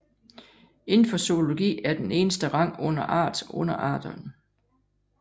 Inden for zoologi er den eneste rang under art underarten